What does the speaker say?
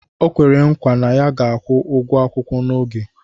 Okwere nkwa na ya ga-akwụ ụgwọ akwụkwọ n'oge